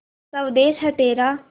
स्वदेस है तेरा